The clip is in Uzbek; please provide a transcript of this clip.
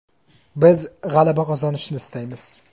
Biz g‘alaba qozonishni istaymiz.